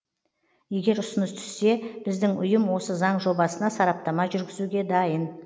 егер ұсыныс түссе біздің ұйым осы заң жобасына сараптама жүргізуге дайын